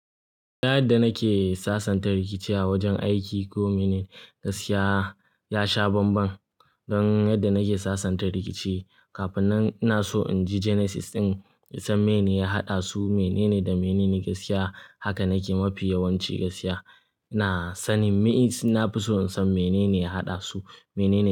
Yadda nake sasanta rikici a wajen aiki ko mene, gaskiya ya sha banban. Don yadda nake sasanta rikici, kafinan ina so in ji genesis ɗin, in san meye ne ya haɗa su, menene da menene gaskiya. Haka nake, mafi yawanci gaskiya. Ina sanin me, is, na fi so in san menene ya haɗa su, menene.